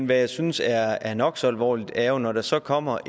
hvad jeg synes er er nok så alvorligt at når der så kommer